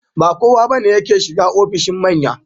Ba kowa ba ne yake shiga ofishin manya.